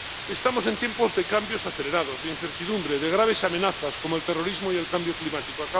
Estamos en tiempos de cambios acelerados, de incertidumbre y de graves amenazas como el terrorismo y el cambio climático.